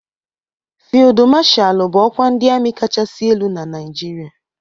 Fịldu Mashalu bụ ọkwa ndị ami kachasị elu na Naijiria.